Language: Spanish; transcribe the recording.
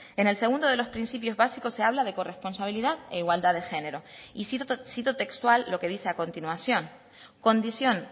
en el segundo de los principios básicos se habla de corresponsabilidad e igualdad de género y cito textual lo que dice a continuación condición